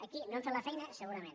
aquí no hem fet la feina segurament